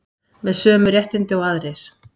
Með sömu réttindi og aðrir